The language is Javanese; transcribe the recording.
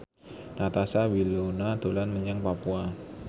Natasha Wilona dolan menyang Papua